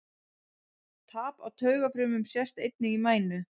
Tap á taugafrumum sést einnig í mænu.